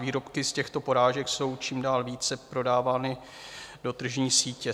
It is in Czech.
Výrobky z těchto porážek jsou čím dál více prodávány do tržní sítě.